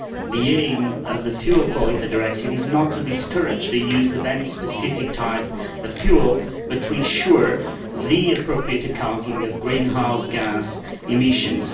The aim of the Fuel Quality Directive is not to discourage the use of any specific type of fuel but to ensure the appropriate accounting of greenhouse gas emissions.